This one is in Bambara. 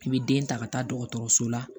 I bɛ den ta ka taa dɔgɔtɔrɔso la